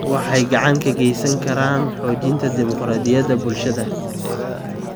Waxay gacan ka geysan karaan xoojinta dimuqraadiyadda bulshada.